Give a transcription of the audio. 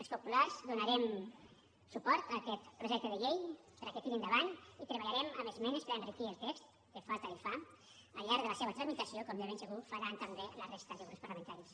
els populars donarem suport a aquest projecte de llei perquè tiri endavant i treballarem amb esmenes per enriquir el text que falta li fa al llarg de la seva tramitació com de ben segur faran també la resta de grups parlamentaris